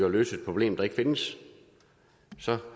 at løse et problem der ikke findes så